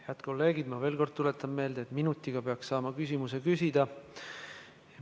Head kolleegid, ma veel kord tuletan meelde, et minutiga peaks saama küsimuse küsitud.